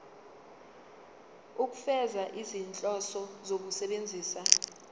ukufeza izinhloso zokusebenzisa